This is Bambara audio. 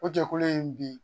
O jɛkulu in bi